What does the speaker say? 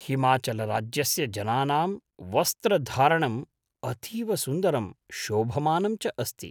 हिमाचलराज्यस्य जनानां वस्त्रधारणं अतीव सुन्दरं शोभमानं च अस्ति।